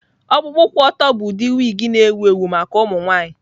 Ọkpụkpụ kwụ ọtọ bụ ụdị wig na-ewu ewu maka ụmụ nwanyị.